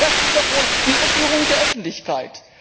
Das ist doch wohl eine Irreführung der Öffentlichkeit!